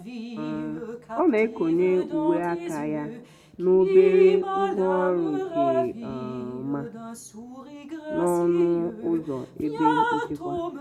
um ọ na-ekonye uwe aka ya na obere ngwaọrụ nke um ọma n'ọnụ ụzọ ebe nchekwa.